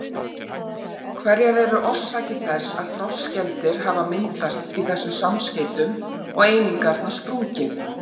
Hverjar eru orsakir þess að frostskemmdir hafa myndast í þessum samskeytum og einingarnar sprungið?